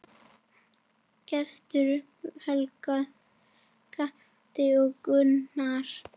Gestur, Helga, Skafti og Gunnar.